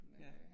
Ja